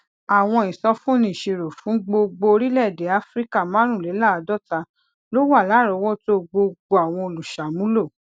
àwọn ìsọfúnni ìṣirò fún gbogbo orílèèdè áfíríkà márùnléláàádóta ló wà láròówótó gbogbo àwọn olùṣàmúlò